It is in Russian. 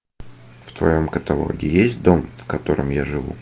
в твоем каталоге есть дом в котором я живу